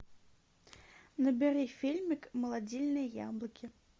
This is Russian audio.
набери фильмик молодильные яблоки